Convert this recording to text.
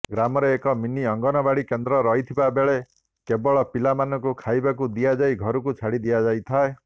ଗ୍ରାମରେ ଏକ ମିନି ଅଙ୍ଗନବାଡ଼ି କେନ୍ଦ୍ର ରହିଥିବା ବେଳେ କେବଳ ପିଲାମାନଙ୍କୁ ଖାଇବାକୁ ଦିଆଯାଇ ଘରକୁ ଛାଡ଼ି ଦିଆଯାଇଥାଏ